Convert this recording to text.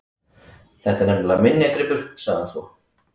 Þetta er nefnilega minjagripur- sagði hann svo.